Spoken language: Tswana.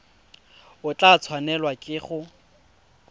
o tla tshwanelwa ke go